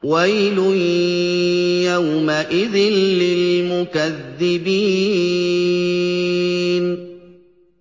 وَيْلٌ يَوْمَئِذٍ لِّلْمُكَذِّبِينَ